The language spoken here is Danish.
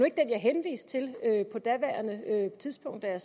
ikke den jeg henviste til på daværende tidspunkt da jeg